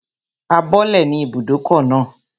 A bọ́lẹ̀ ní ibùdókọ̀ náà